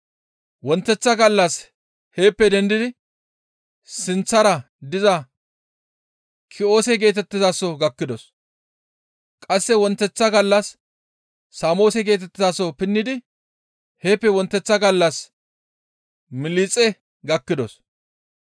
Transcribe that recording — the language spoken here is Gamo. Wonteththa gallas heeppe dendidi sinththara diza Ki7oose geetettizaso gakkidos; qasse wonteththa gallas Saamoose geetettizaso pinnidi heeppe wonteththa gallas Miliixe gakkidos.